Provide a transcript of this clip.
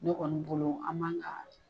Ne kɔni bolo an man ga